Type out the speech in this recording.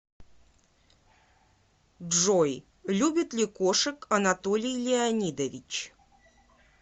джой любит ли кошек анатолий леонидович